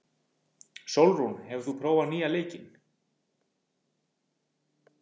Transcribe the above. Sólrún, hefur þú prófað nýja leikinn?